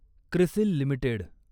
CRISIL limited